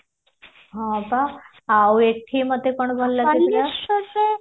ହଁ ପା ଆଉ ଏଠି ମତେ କଣ ଭଲ ଲାଗୁଥିଲା